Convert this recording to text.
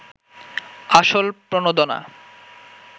আসল প্রণোদনা